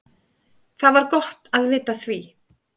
Það var gott að vita af því.